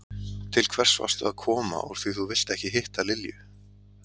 Til hvers varstu að koma úr því þú vilt ekki hitta Lilju?